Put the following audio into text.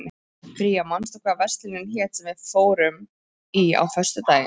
Bría, manstu hvað verslunin hét sem við fórum í á föstudaginn?